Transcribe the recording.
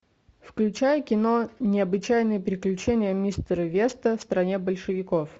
включай кино необычайные приключения мистера веста в стране большевиков